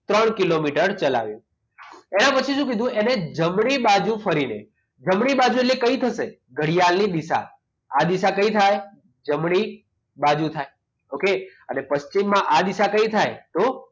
ત્રણ કિલોમીટર ચલાવીએ એના પછી સુ કીધું એને જમણી બાજુ ફરીને જમણી બાજુ એટલે કઈ થશે ઘડિયાળની દિશા આ દિશા કઈ થાય જમણી બાજુ થાય okay અને પશ્ચિમમાં આ દિશા કઈ થાય તો